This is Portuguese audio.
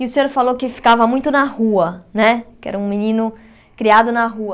E o senhor falou que ficava muito na rua, né que era um menino criado na rua.